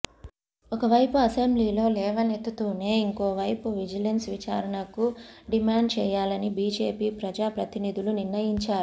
ఒకవైపు అసెంబ్లీలో లేవనెత్తుతూనే ఇంకోవైపు విజిలెన్స్ విచారణకు డిమాండ్ చేయాలని బిజెపి ప్రజా ప్రతినిధులు నిర్ణయించారు